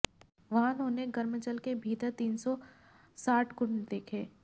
वहां उन्होंने गर्म जल के भीतर तीन सौ साठ कुंड देखे